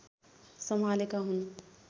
सम्हालेका हुन्